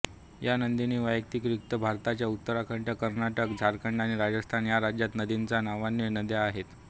या नंदिनीव्यतिरिक्त भारताच्या उत्तराखंड कर्नाटक झारखंड आणि राजस्थान या राज्यांत नंदिनी नावाच्या नद्या आहेत